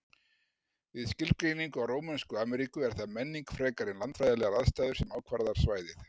Við skilgreiningu á Rómönsku Ameríku er það menning frekar en landfræðilegar aðstæður sem ákvarðar svæðið.